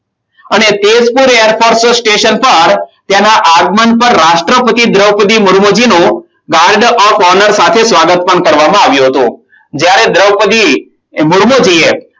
અને Tezpur air force station પર તેના આગમન પર રાષ્ટ્રપતિ દ્રોપદી મૂર્મુંજી નો ward of owner સાથે સ્વાગત પણ કરવામાં આવ્યું હતું. જ્યારે દ્રૌપદી મૂર્મુંજી એ